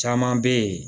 Caman bɛ yen